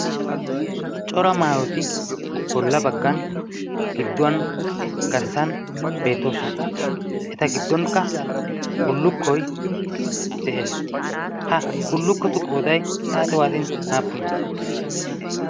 Cora maawoti bolla baggan gidduwan garssan beettoosona. Eta giddonkka bullukkoi de'ees. ha bullukkotu qooday xaaxe waatin aappune?